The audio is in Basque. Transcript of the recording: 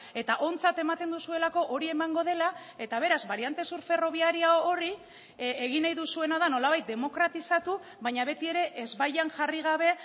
eta ontzat ematen duzuelako hori emango dela eta beraz bariante sur ferroviaria horri egin nahi duzuena da nolabait demokratizatu baina betiere ezbaian jarri gabe